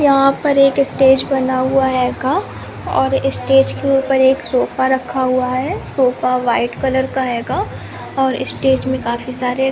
यहाँ पर एक स्टेज बना हुआ हैगा और स्टेज के ऊपर एक सोफ़ा रखा हुआ है सोफ़ा व्हाइट कलर का हैगा और स्टेज में काफी सारे--